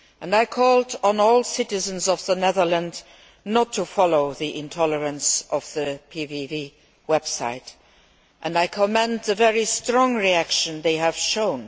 I called on all citizens of the Netherlands not to follow the intolerance of the PVV website and I commend the very strong reaction that they have shown.